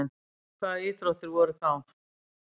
Hvaða íþróttir voru þá?